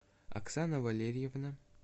оксана валерьевна